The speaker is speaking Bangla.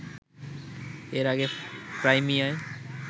এর আগে ক্রাইমিয়ায়